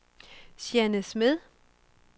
Jeanne Smed